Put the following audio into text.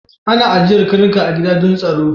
Ana ajiyar karnuka a gida don tsaro